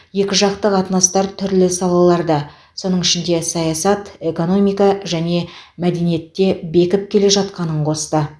екіжақты қатынастар түрлі салаларда соның ішінде саясат экономика және мәдениетте бекіп келе жатқанын қосты